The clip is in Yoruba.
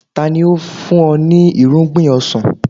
Tani ó fún ọ ní irúgbìn ọsàn?